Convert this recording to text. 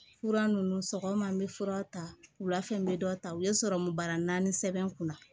Fura ninnu sɔgɔma n bɛ fura ta wula fɛ n bɛ dɔ ta u ye sɔrɔmu bara naani sɛbɛn n kunna